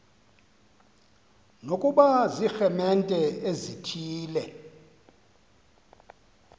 nokuba ziiremente ezithile